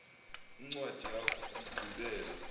incwadi yakho yokugqibela